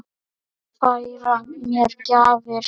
Færa mér gjafir sínar.